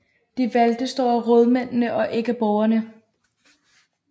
De valgtes dog af rådmændene og ikke af borgerne